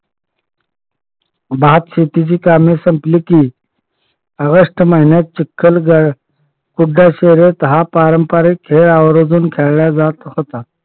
भातशेतीची कामेही संपली की ऑगस्ट महिन्यात चिखल हुंडा शर्यत हा पारंपारिक खेळ आवर्जून खेळला जात होता.